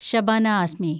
Shabana asked me